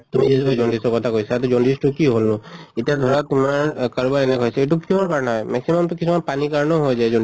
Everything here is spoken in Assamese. তুমি যিটো jaundice ৰ কথা কৈছা jaundice টো কিয় হʼলনো? ইটা ধৰা তোমাৰ আহ কাৰোবাৰ এনে হৈছে এইটো কিহৰ কাৰণে হয়, maximum তো কিছুমান পানীৰ কাৰণেও হৈ যায়